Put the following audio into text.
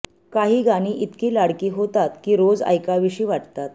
काही गाणी इतकी लाडकी होतात की रोज ऐकावीशी वाटतात